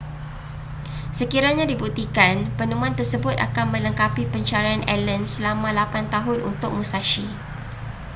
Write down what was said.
sekiranya dibuktikan penemuan tersebut akan melengkapi pencarian allen selama lapan tahun untuk musashi